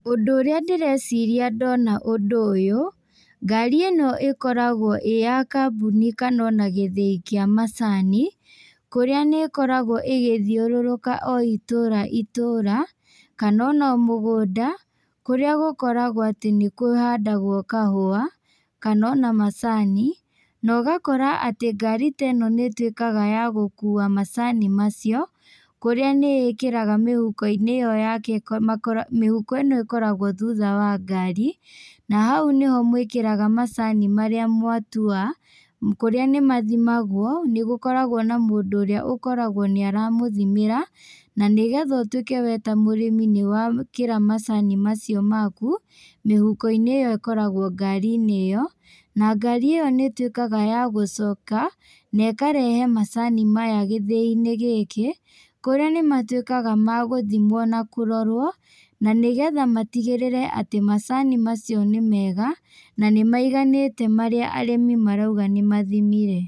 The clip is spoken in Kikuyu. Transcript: Ũndũ ũrĩa ndĩreciria ndona ũndũ ũyũ, ngari ĩno ĩkoragwo ĩĩ ya kambuni kana ona gĩthĩi kĩa macani. Kũrĩa nĩ ĩkoragwo ĩgĩthiũrũrũka o itũra itũra kana ona mũgũnda kũrĩa gũkoragwo atĩ nĩ kũhandagwo kahũa kana ona macani. Na ũgakora atĩ ngari ta ĩno nĩ ĩtuĩkaga ya gũkua macani macio, kũrĩa nĩ ĩkĩraga mĩhuko-inĩ ĩyo yake, mĩhuko ĩno ĩkoragwo thutha wa ngari. Na hau nĩho mwĩkĩraga macani marĩa mwatua kũrĩa nĩ mathimagwo. Nĩ gũkoragwo na mũndũ ũrĩa ũkoragwo nĩ aramũthimĩra, na nĩgetha ũtuĩke we ta mũrĩmi nĩ wekĩra macani macio maku mĩhuko-inĩ ĩyo ĩkoragwo ngari-inĩ ĩyo. Na ngari ĩyo nĩ ĩtuĩkaga ya gũcoka na ĩkarehe macani maya gĩthĩi-inĩ gĩkĩ. Kũrĩa nĩ matuĩkaga ma gũthimwo na kũrorwo, na nĩgetha matigĩrĩre atĩ macani macio nĩ mega na nĩ maiganĩte marĩa arĩmi marauga nĩ mathimire.